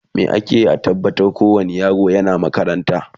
me akeyi a tabbatar ko wani yaro yana makaranta?